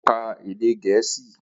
Ó ka èdè Gẹ̀ẹ́sì